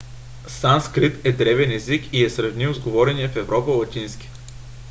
санскрит е древен език и е сравним с говорения в европа латински